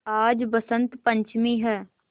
आज बसंत पंचमी हैं